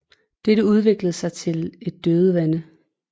Dette udviklede sig til et dødvande